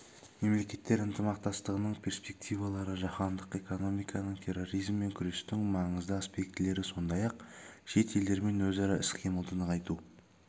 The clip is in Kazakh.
мемлекеттер ынтымақтастығының перспективалары жаһандық экономиканың терроризммен күрестің маңызды аспектілері сондай-ақ шет елдермен өзара іс-қимылды нығайту